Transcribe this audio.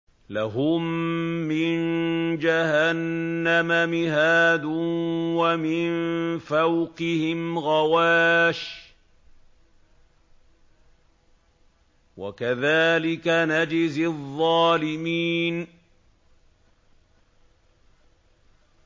لَهُم مِّن جَهَنَّمَ مِهَادٌ وَمِن فَوْقِهِمْ غَوَاشٍ ۚ وَكَذَٰلِكَ نَجْزِي الظَّالِمِينَ